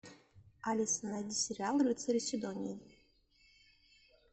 алиса найди сериал рыцари сидонии